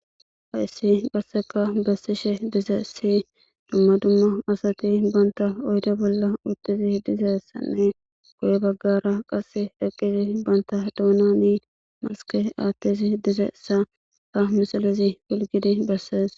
ha issi qasseka bassishe dizessi dumma dumma asati banta oyde bolla uttizi dizeessanne goye baggara qass eqqizi banta duunani maske aattizi dizeessa ha misilizi pilgidi bessees